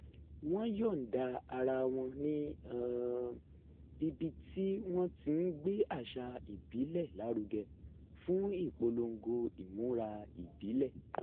wọ́n yọ̀ǹda ara wo̩n ní um ibi tí wọ́n ti ń gbé àṣà ìbílẹ̀ lárugẹ fún ìpolongo imura ìbílè̩